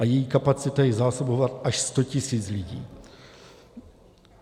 A její kapacita je zásobovat až 100 tisíc lidí.